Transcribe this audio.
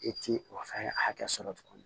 I ti o fɛn hakɛ sɔrɔ tuguni